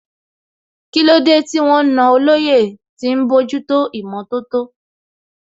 Kílódé tí wọ́n na olóyè tí ń bójútó ìmọ̀tótó?